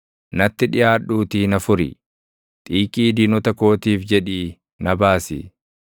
Natti dhiʼaadhuutii na furi; xiiqii diinota kootiif jedhii na baasi.